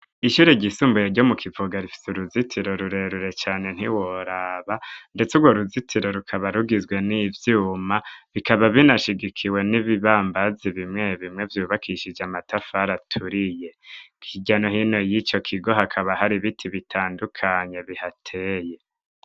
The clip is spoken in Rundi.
Ishyure ryisumbuye ryo mu Kivuga rifise uruzitiro rurerure cane ntiworaba ndetse urwo ruzitiro rukaba rugizwe n'ivyuma bikaba binashigikiwe n'ibibambazi bimwe bimwe vyubakishije amatafari aturiye hirya nohino yico kigo hakaba hari ibiti bitandukanye bihateye